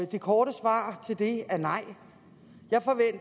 det korte svar på det er nej